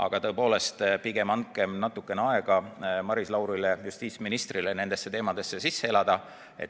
Aga tõepoolest, pigem andkem natukene aega Maris Laurile, justiitsministrile, nendesse teemadesse sisse elada.